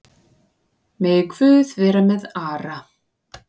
Megi Guð vera með Ara.